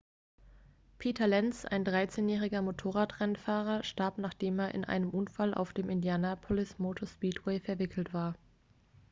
peter lenz ein 13-jähriger motorradrennfahrer starb nachdem er in einen unfall auf dem indianapolis motor speedway verwickelt war